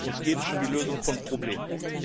Uns geht es um die Lösung von Problemen.